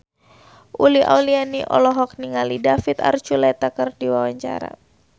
Uli Auliani olohok ningali David Archuletta keur diwawancara